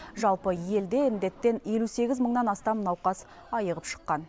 жалпы елде індеттен елу сегіз мыңнан астам науқас айығып шыққан